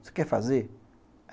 Você quer fazer?